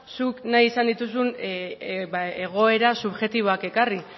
zuk nahi izan dituzun egoera subjektiboak ekarri